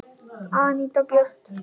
Anita Björt.